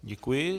Děkuji.